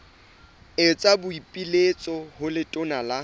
etsa boipiletso ho letona la